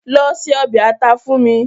Lọ se ọbẹ̀ ata fún mi